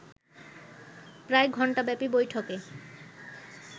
প্রায় ঘণ্টাব্যাপী বৈঠকে